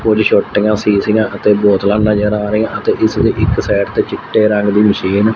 ਕੁਛ ਛੋਟੀਆਂ ਸੀਸੀਆ ਅਤੇ ਬੋਤਲਾਂ ਨਜ਼ਰ ਆ ਰਹੀਆਂ ਤੇ ਇਸ ਦੇ ਇੱਕ ਸਾਈਡ ਤੇ ਚਿੱਟੇ ਰੰਗ ਦੀ ਮਸ਼ੀਨ --